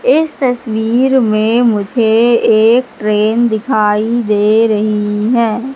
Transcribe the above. इस तस्वीर में मुझे एक ट्रेन दिखाई दे रही है।